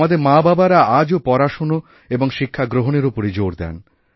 আমাদের মাবাবারা আজও পড়াশোনা এবংশিক্ষাগ্রহণের ওপরই জোর দেন